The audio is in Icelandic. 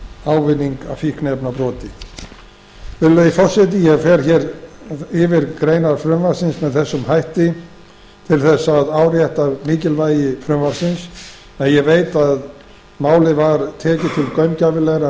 ávinning af fíkniefnabroti virðulegi forseti ég fer hér yfir greinar frumvarpsins með þessum hætti til þess að árétta mikilvægi frumvarpsins en ég veit að málið var tekið til gaumgæfilegrar